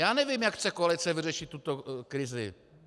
Já nevím, jak chce koalice vyřešit tuto krizi.